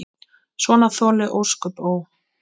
Svona þoli ósköp, ó!